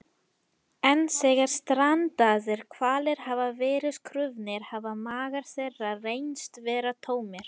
en þegar strandaðir hvalir hafa verið krufnir hafa magar þeirra reynst vera tómir